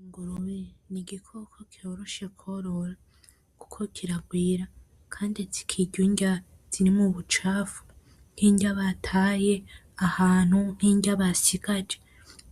Ingurube nigikoko coroshe kworora kandi kirarwira nukuvuga kirya inrya zirimwo ubucafu nkirya bataye ahantu, nkirya basigaje